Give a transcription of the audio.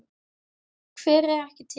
Hver er ekki til?